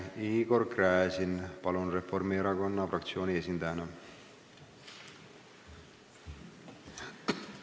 Palun, Igor Gräzin Reformierakonna fraktsiooni esindajana!